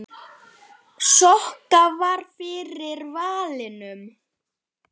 Sokka varð fyrir valinu.